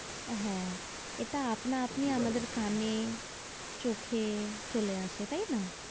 হ্যাঁ। এটা আপনা-আপনি আমাদের কানে চোখে চলে আসে তাই না?